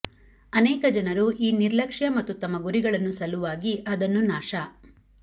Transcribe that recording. ಅನೇಕ ಜನರು ಈ ನಿರ್ಲಕ್ಷ್ಯ ಮತ್ತು ತಮ್ಮ ಗುರಿಗಳನ್ನು ಸಲುವಾಗಿ ಅದನ್ನು ನಾಶ